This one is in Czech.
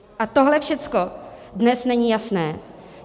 A tohle všechno dnes není jasné.